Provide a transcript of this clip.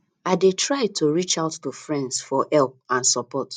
i dey try to reach out to friends for help and support